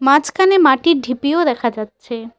মাঝখানে মাটির ঢিপিও দেখা যাচ্ছে।